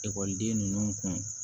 Ekɔliden ninnu kun